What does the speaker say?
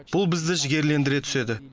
бұл бізді жігерлендіре түседі